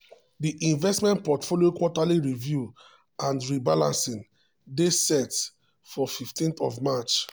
di investment portfolio quarterly review and rebalancing dey set for 15th of march.